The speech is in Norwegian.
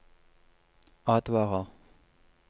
advarer